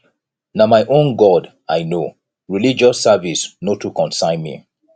na my own god i know religious service no too concern me